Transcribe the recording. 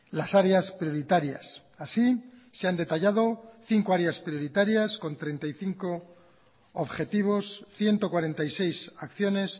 las áreas prioritarias así se han detallado cinco áreas prioritarias con treinta y cinco objetivos ciento cuarenta y seis acciones